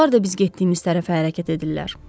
Onlar da biz getdiyimiz tərəfə hərəkət edirlər.